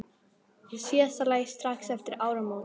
Í síðasta lagi strax eftir áramót.